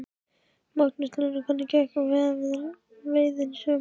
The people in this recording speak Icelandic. Magnús Hlynur: Hvernig gekk veiðin í sumar?